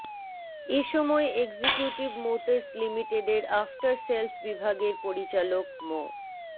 এ সময় executive motors লিমিটেডের after sales বিভাগের পরিচালক মো